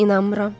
İnanmıram.